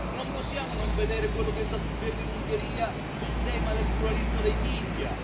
Non possiamo non vedere quello che sta succedendo in Ungheria sul tema del pluralismo dei media.